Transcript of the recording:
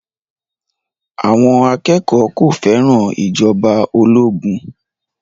Àwọn akẹ́kọ̀ọ́ kò fẹ́ràn ìjọba ológun